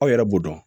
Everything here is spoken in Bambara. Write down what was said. Aw yɛrɛ b'o dɔn